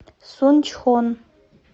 сунчхон